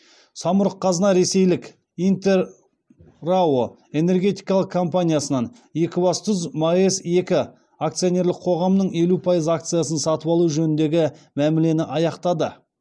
самұрық қазына ресейлік интер рао энергетикалық компаниясынан екібастұз маэс екі акционерлік қоғамының елу пайыз акциясын сатып алу жөніндегі мәмілені аяқтады